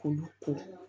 K'olu ko